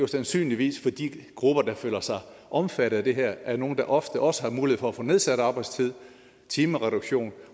sandsynligvis for de grupper der er omfattet af det her er nogle der ofte også har mulighed for at få nedsat arbejdstid timereduktion